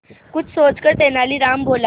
कुछ सोचकर तेनालीराम बोला